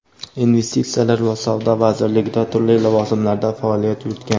investitsiyalar va savdo vazirligida turli lavozimlarda faoliyat yuritgan.